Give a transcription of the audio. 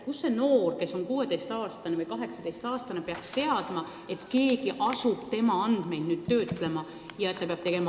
Kust see 16- või 18-aastane inimene peaks teadma, et keegi asub tema andmeid töötlema?